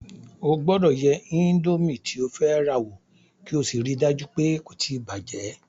O gbọ́dọ̀ yẹ indomi tí o fẹ́ rà wo kí o sì rí í dájú pé kò tí bàjẹ̀